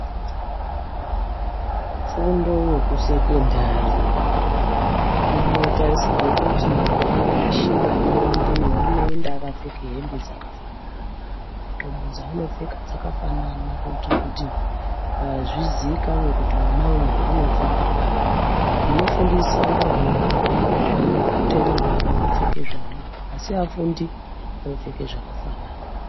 Fundo yekusekendari inotarisirwa kuti ana eshe anoendeyo, anoenda akapfekw hembe dzakafanana, hembe dzaanopfeka dzakafanana kuitira kuti zviziikane kuti mwana uyu unofunda pari, anofundisa ndiwo anotenderwa havo kupfeke zvevanoda asi afundi anopfeke zvakafanana.